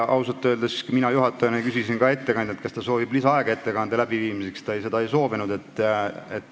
Ausalt öeldes küsisin ka mina juhatajana ettekandjalt, kas ta soovib lisaaega ettekande jaoks, ta seda ei soovinud.